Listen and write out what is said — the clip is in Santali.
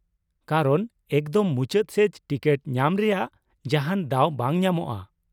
ᱠᱟᱨᱚᱱ, ᱮᱠᱫᱚᱢ ᱢᱩᱪᱟᱹᱫ ᱥᱮᱡ ᱴᱤᱠᱤᱴ ᱧᱟᱢ ᱨᱮᱭᱟᱜ ᱡᱟᱦᱟᱸᱱ ᱫᱟᱣ ᱵᱟᱝ ᱧᱟᱢᱚᱜᱼᱟ ᱾